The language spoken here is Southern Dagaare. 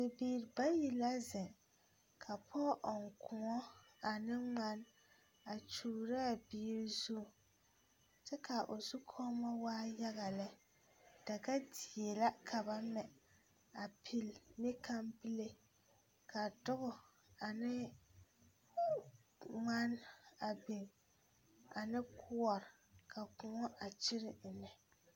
Bibiiri bayi la zeŋ ka pɔɡe ɔŋ kōɔ ane ŋman a kyuuro a bie zu kyɛ ka o zukɔɔmɔ waa yaɡa lɛ daɡadie la ka ba mɛ a pili ne kampile ka duɡi ane ŋmane a biŋ ane koɔre ka kõɔ a kyire ennɛ.